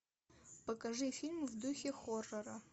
покажи фильм в духе хоррора